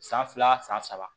San fila san saba